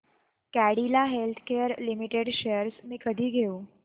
Cadila healthcare limited shares मी कधी घेऊ